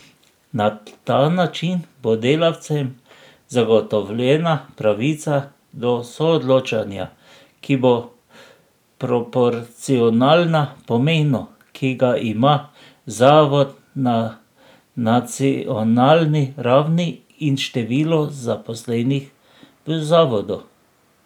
Na ta način bo delavcem zagotovljena pravica do soodločanja, ki bo proporcionalna pomenu, ki ga ima zavod na nacionalni ravni in številu zaposlenih v zavodu.